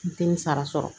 N te n sara sɔrɔ